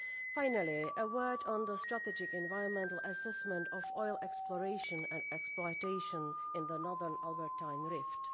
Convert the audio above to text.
Finally, a word on the strategic environmental assessment of oil exploration and exploitation in the Northern Albertine Rift.